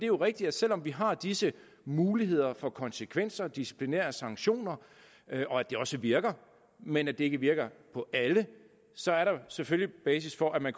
jo rigtigt at selv om vi har disse muligheder for konsekvenser disciplinære sanktioner og at de også virker men at de ikke virker på alle så er der selvfølgelig basis for at man